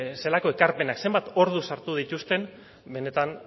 zelako ekarpenak zenbat ordu sartu dituzten benetan